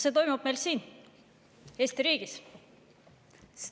See toimub meil siin, Eesti riigis.